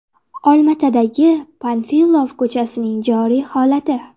Olmaotadagi Panfilov ko‘chasining joriy holati.